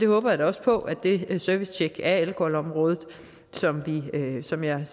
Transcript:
håber da også på at det servicetjek af alkoholområdet som jeg